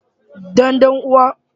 Dan dan uwa.